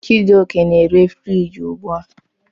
Chijioke na-ere friji ugbu a.